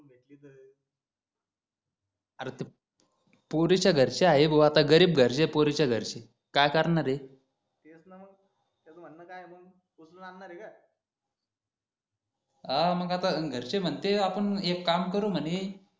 पोरीच्या घरचे आहे भो आता गरीब घरचे ये पोरीच्या घरचे काय करणार ये तेच न मग त्याच म्हण काय आहे मग उचलून आणणार हे का हा मग आता घरचे म्हणते आपण एक काम करू म्हणे